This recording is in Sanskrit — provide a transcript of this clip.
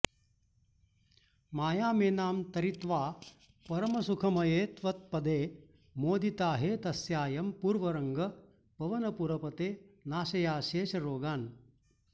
मायामेनां तरित्वा परमसुखमये त्वत्पदे मोदिताहे तस्यायं पूर्वरङ्गः पवनपुरपते नाशयाशेषरोगान्